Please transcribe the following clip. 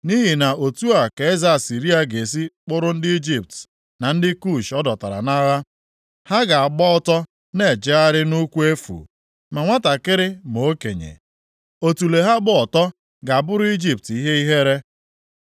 Nʼihi na otu a ka eze Asịrịa ga-esi kpụrụ ndị Ijipt na ndị Kush ọ dọtara nʼagha. Ha ga-agba ọtọ na-ejegharị nʼụkwụ efu, ma nwantakịrị ma okenye. Otule ha gba ọtọ ga-abụrụ Ijipt ihe ihere.